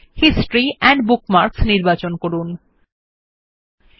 আপনার লোকেশন বারের ব্যবহার এ পরিবর্তন করুন যখন পরামর্শ দেয়160 ইতিহাস এবং বুকমার্ক স্থাপনে